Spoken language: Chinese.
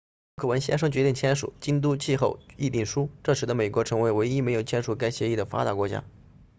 陆克文先生决定签署京都气候议定书这使得美国成为唯一没有签署该协议的发达国家